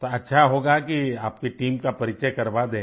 तो अच्छा होगा की आप की टीम का परिचय करवा दें